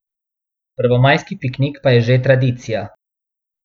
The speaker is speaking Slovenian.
Prvomajski piknik pa je že tradicija.